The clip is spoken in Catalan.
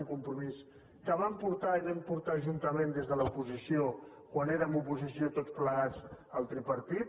un compromís que van portar i vam portar juntament des de l’oposició quan érem oposició tots plegat al tripartit